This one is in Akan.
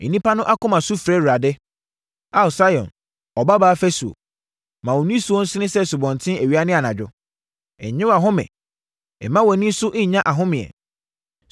Nnipa no akoma su frɛ Awurade. Ao, Sion Ɔbabaa fasuo, ma wo nisuo nsene sɛ asubɔnten awia ne anadwo; nnye wʼahome mma wʼani nso nnya ahomeɛ.